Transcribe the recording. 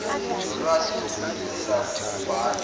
nolwazi lokufunda nokubhala